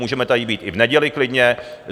Můžeme tady být i v neděli klidně.